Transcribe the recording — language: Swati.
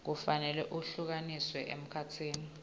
kufanele ehlukaniswe emkhatsini